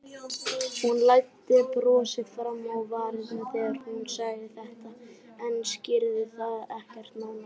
Hún læddi brosi fram á varirnar þegar hún sagði þetta en skýrði það ekkert nánar.